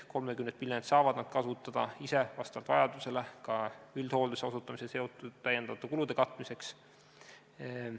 30 miljonit saavad nad kasutada ise vastavalt vajadusele ka üldhoolduse osutamisega seotud lisakulude katmiseks.